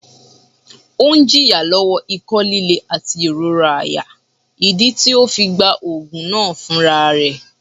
Ọun ń jìyà lówò iko lílé àti ìrora àyà, ìdí tí ọ fí gbá òògùn náà fún àrà rẹ̀